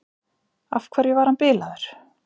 Af hverju var hann bilaður?